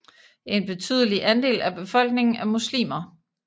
En betydelig andel af befolkningen er muslimer